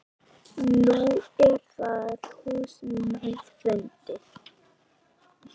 Nú er það húsnæði fundið.